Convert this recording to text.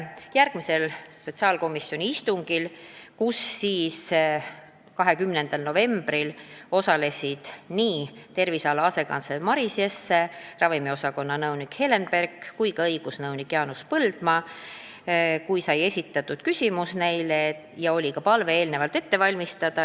Järgmisel sotsiaalkomisjoni istungil 20. novembril, kus osalesid nii terviseala asekantsler Maris Jesse, ravimiosakonna nõunik Helen Berk kui ka õigusnõunik Jaanus Põldmaa, esitasime neile küsimuse ja olime eelnevalt palunud vastus ette valmistada.